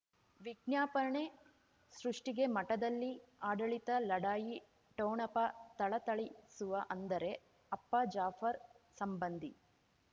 ವಿಜ್ಞಾಪನೆ ಸೃಷ್ಟಿಗೆ ಮಠದಲ್ಲಿ ಆಡಳಿತ ಲಢಾಯಿ ಠೋಣಪ ಥಳಥಳಿಸುವ ಅಂದರೆ ಅಪ್ಪ ಜಾಫರ್ ಸಂಬಂಧಿ